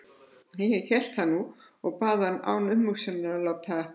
Ég hélt það nú og bað hann án umhugsunar að láta